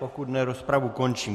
Pokud ne, rozpravu končím.